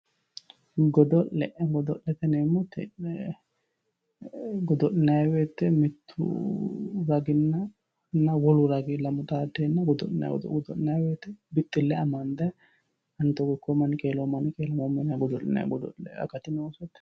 Godo'le godo'lete yineemmoti godo'linanni woyte mittu raginna wolu ragi lamu xaaddenna godo'linnanite, godo'linanni woyte bixxile amande ani togo ikkommo"ani qeelommo yinnanni godo'linanni akati noosete.